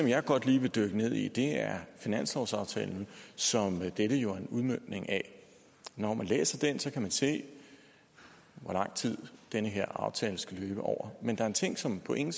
jeg godt lige vil dykke ned i er finanslovsaftalen som dette jo er en udmøntning af når man læser den kan man se hvor lang tid den her aftale skal løbe over men der er en ting som på ingen